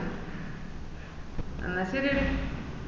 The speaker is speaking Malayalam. എന്നാ ശെരിയെടി